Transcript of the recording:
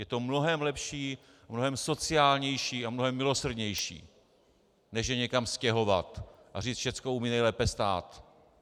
Je to mnohem lepší, mnohem sociálnější a mnohem milosrdnější než je někam stěhovat a říct: všechno umí nejlépe stát.